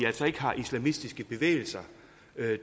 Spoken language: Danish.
ikke har islamistiske bevægelser